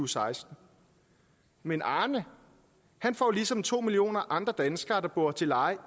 seksten men arne får ligesom to millioner andre danskere der bor til leje